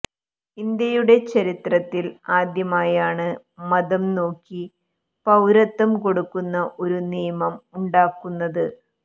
ഇന്ത്യയുടെ ചരിത്രത്തിൽ ആദ്യമായാണ് മതം നോക്കി പൌരത്വം കൊടുക്കുന്ന ഒരു നിയമം ഉണ്ടാക്കുന്നത്